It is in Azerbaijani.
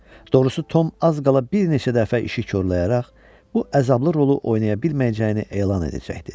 Doğrusu, Tom az qala bir neçə dəfə işi korlayaraq bu əzablı rolu oynaya bilməyəcəyini elan edəcəkdi.